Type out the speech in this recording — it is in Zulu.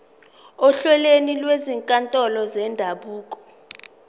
ohlelweni lwezinkantolo zendabuko